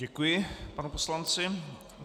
Děkuji panu poslanci.